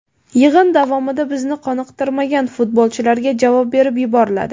Yig‘in davomida bizni qoniqtirmagan futbolchilarga javob berib yuboriladi.